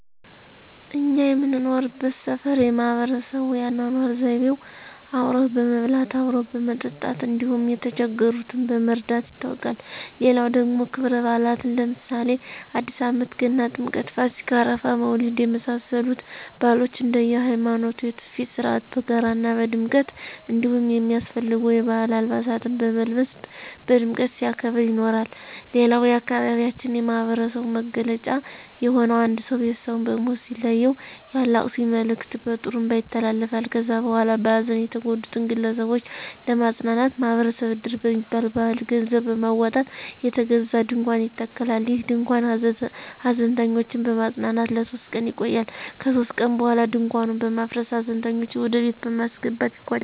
እኛ የምንኖርበት ሠፈር የማህበረሰቡ የአኖኖር ዘይቤው አብሮ በመብላት፣ አብሮ በመጠጣት እንዲሁም የተቸገሩትን በመርዳት ይታወቃል። ሌላው ደግሞ ከብረባእላትን ለምሳሌ አዲስአመት፣ ገና፣ ጥምቀት፣፣ ፋሲካ፣ አረፋ፣ መውሊድ የመሳሰሉትን ባህሎች እንደየሀይማኖቱ የቱፊት ሥርአት በጋራ ና በድምቀት እንዲሁም የሚያስፈልጉ የባህል አልባሳትን በመልበስ በድምቀት ሲያከብር ይኖራል። ሌላው የአካባቢያችን የማህበረሰቡ መገለጫ የሆነው አንድ ሰው ቤተሰቡን በሞት ሲለየው የአላቅሱኝ መልእክት በጥሩንባ ይተላለፋል ከዚያ በኋላ በሀዘን የተጎዱትን ግለሰቦች ለማጽናናት ማህበረሰብ እድር በሚባል ባህል ገንዘብ በማውጣት የተገዛ ድንኳን ይተከላል። ይህ ድንኳን ሀዘንተኞችን በማፅናናት ለሶስት ቀን ይቆያል ከሶስት ቀን በኋላ ድንኳኑን በማፍረስ ሀዘንተኞችን ወደቤት በማስገባት ይቋጫል።